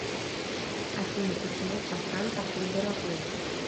афина почему шафран такой дорогой